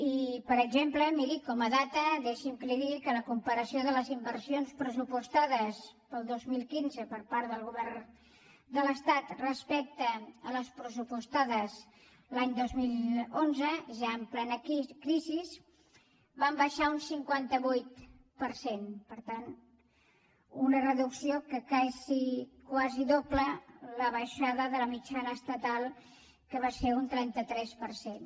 i per exemple miri com a dada deixi’m que li digui que la comparació de les inversions pressupostades per al dos mil quinze per part del govern de l’estat respecte a les pressupostades l’any dos mil onze ja en plena crisi van baixar un cinquanta vuit per cent per tant una reducció que quasi dobla la baixada de la mitjana estatal que va ser un trenta tres per cent